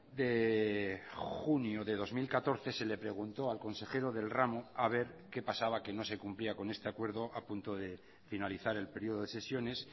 de junio de dos mil catorce se le preguntó al consejero del ramo a ver qué pasaba que no se cumplía con este acuerdo a punto de finalizar el periodo de sesiones